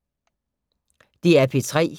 DR P3